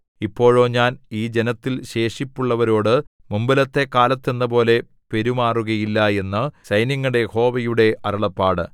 ഇപ്പോഴോ ഞാൻ ഈ ജനത്തിൽ ശേഷിപ്പുള്ളവരോടു മുമ്പിലത്തെ കാലത്ത് എന്നപോലെ പെരുമാറുകയില്ല എന്നു സൈന്യങ്ങളുടെ യഹോവയുടെ അരുളപ്പാട്